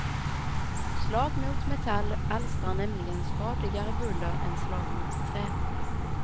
Slag mot metall alstrar nämligen skadligare buller än slag mot trä.